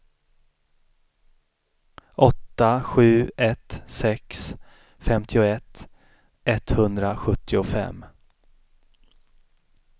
åtta sju ett sex femtioett etthundrasjuttiofem